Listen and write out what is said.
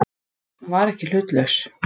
Hún var ekki hlutlaus.